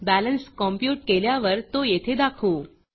balance compute केल्यावर तो येथे दाखवू